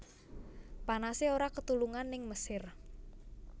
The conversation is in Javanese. Panase ora ketulungan ning Mesir